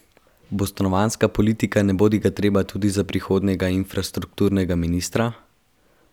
Bo stanovanjska politika nebodigatreba tudi za prihodnjega infrastrukturnega ministra?